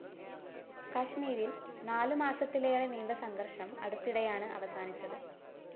കശ്മീരില്‍ നാല് മാസത്തിലേറെ നീണ്ട സംഘര്‍ഷം അടുത്തിടെയാണ് അവസാനിച്ചത്